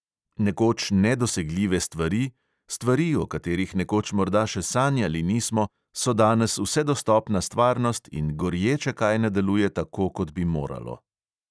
Nekoč nedosegljive stvari, stvari, o katerih nekoč morda še sanjali nismo, so danes vsedostopna stvarnost in gorje, če kaj ne deluje tako, kot bi moralo.